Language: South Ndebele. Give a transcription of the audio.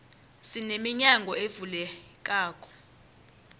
sine minyango ezivulekelako